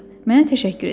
Mənə təşəkkür edəcək.